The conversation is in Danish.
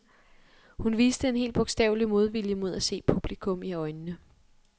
Hun viste en helt bogstavelig modvilje mod at se publikum i øjnene.